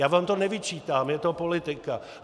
Já vám to nevyčítám, je to politika.